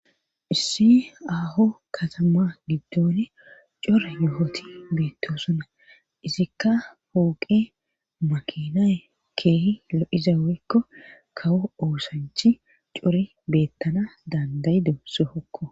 issi aho katama giddone cora yo7oti beettosona izikka hooqe makina keehi lo7iza wekko kawo oosanchi core beettana dandayido sohokko